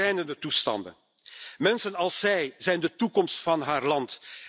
Schrijnende toestanden. Mensen als zij zijn de toekomst van haar land.